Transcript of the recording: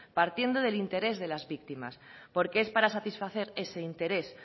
partiendo del interés de las víctimas porque es para satisfacer ese interés